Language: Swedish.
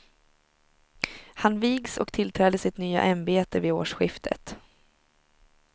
Han vigs och tillträder sitt nya ämbete vid årsskiftet.